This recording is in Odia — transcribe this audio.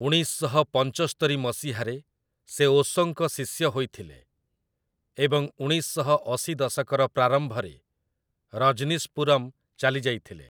ଉଣେଇଶ ଶହ ପଞ୍ଚସ୍ତରୀ ମସିହାରେ ସେ ଓଶୋଙ୍କ ଶିଷ୍ୟ ହୋଇଥିଲେ ଏବଂ ଉଣେଇଶ ଶହ ଅଶୀ ଦଶକର ପ୍ରାରମ୍ଭରେ ରଜ୍‌ନୀଶପୁରମ୍‌ ଚାଲିଯାଇଥିଲେ ।